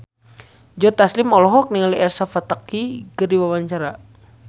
Joe Taslim olohok ningali Elsa Pataky keur diwawancara